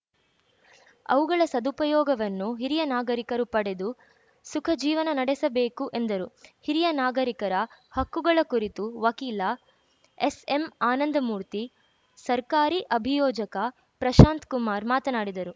ಅವುಗಳ ಸದುಪಯೋಗವನ್ನು ಹಿರಿಯ ನಾಗರಿಕರು ಪಡೆದು ಸುಖ ಜೀವನ ನಡೆಸಬೇಕು ಎಂದರು ಹಿರಿಯ ನಾಗರಿಕರ ಹಕ್ಕುಗಳ ಕುರಿತು ವಕೀಲ ಎಸ್‌ಎಂ ಆನಂದಮೂರ್ತಿ ಸರ್ಕಾರಿ ಅಭಿಯೋಜಕ ಪ್ರಶಾಂತ್‌ ಕುಮಾರ್‌ ಮಾತನಾಡಿದರು